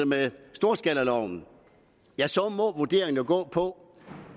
storskalaloven må vurderingen jo gå på